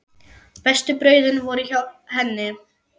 Bestu brauðin voru hjá henni.